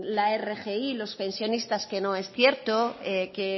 la rgi los pensionistas que no es cierto que